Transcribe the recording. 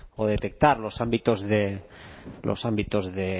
o detectar los ámbitos de los ámbitos de